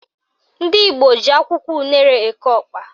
Ndị Igbo ji akwụkwọ unere eke ọkpa